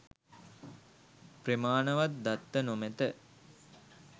ප්‍රමානවත් දත්ත නොමැත.